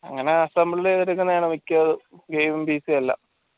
അങ്ങന assembled ചെയ്ത് എടുക്കുന്നെയാണ് മിക്യതും gaming ഉം PC യു എല്ലാം